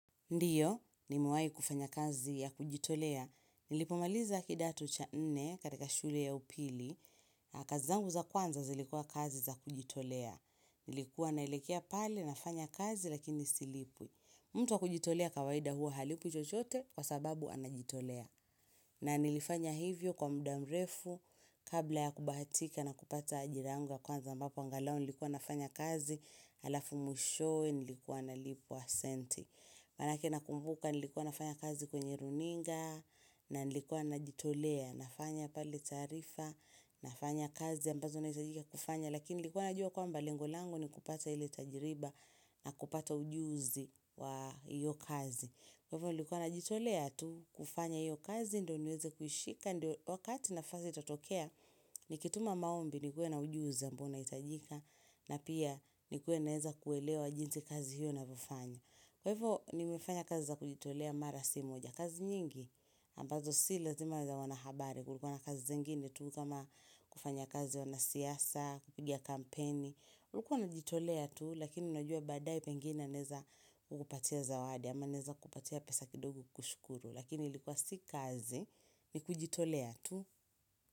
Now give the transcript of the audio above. Ndiyo, nimewai kufanya kazi ya kujitolea. Nilipomaliza kidato cha nne katika shule ya upili. Kazi zangu za kwanza zilikua kazi za kujitolea. Nilikuwa nalekea pale na fanya kazi lakini silipwi. Mtu wa kujitolea kawaida huwa halipwi chochote kwa sababu anajitolea. Na nilifanya hivyo kwa muda mrefu kabla ya kubatika na kupata ajira yangu ya kwanza ambapo angalau nilikuwa nafanya kazi. Halafu mwishowee nilikuwa nalipwa senti. Manake nakumbuka nilikuwa nafanya kazi kwenye runinga. Na nilikuwa najitolea nafanya pale taarifa. Nafanya kazi ambazo nahitajika kufanya Lakini nilikuwa najua kwamba lengo lango ni kupata ile tajriba na kupata ujuzi wa iyo kazi Kwa hivyo nilikuwa najitolea tu kufanya iyo kazi ndio niweze kuishika ndio wakati nafasi itotokea Nikituma maombi nikuwa na ujuzi ambao unahitajika na pia nikuwe naeza kuelewa jinsi kazi hiyo inavyofanya Kwa hivyo nimefanya kazi za kujitolea mara si moja. Kazi nyingi ambazo si lazima za wanahabari. Kulikuwa na kazi zingine tu kama kufanya kazi wanasiasa, kupiga kampeni. Ulikuwa unajitolea tu lakini najua baadae pengine naeza kukupatia zawadi ama naeza kupatia pesa kidogo kukushukuru. Lakini ilikuwa si kazi ni kujitolea tu.